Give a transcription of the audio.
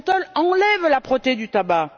Le menthol enlève l'âpreté du tabac.